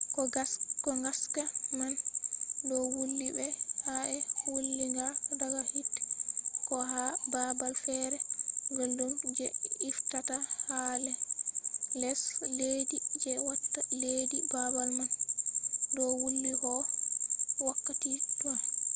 ko gaska man do wuli be ka’e wulinga daga hite ko ha babal fere guldum je iftata ha les leddi je watta leddi babal man do wuli ko wakkati toi